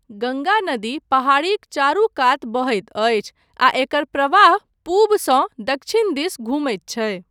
गङ्गा नदी पहाड़ीक चारू कात बहैत अछि आ एकर प्रवाह पूबसँ दक्षिण दिस घुमैत छै।